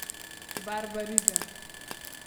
Barbariga.